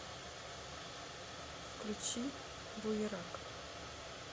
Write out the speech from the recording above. включи буерак